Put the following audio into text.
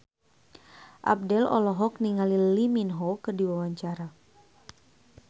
Abdel olohok ningali Lee Min Ho keur diwawancara